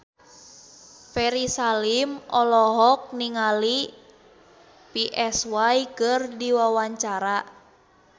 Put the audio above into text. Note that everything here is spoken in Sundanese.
Ferry Salim olohok ningali Psy keur diwawancara